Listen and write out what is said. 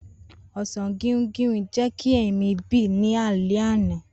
Osan guinguin jẹ ki mi bì ni alẹ ana.